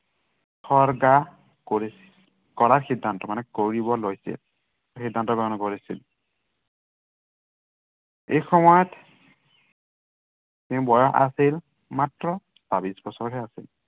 উচৰ্গা কৰিছিল, কৰাৰ সিদ্ধান্ত মানে, কৰিব লৈছিল। সিদ্ধান্ত গ্ৰহণ কৰিছিল। সেই সময়ত তেওঁৰ বয়স আছিল মাত্ৰ ছাবিশ বছৰহে আছিল।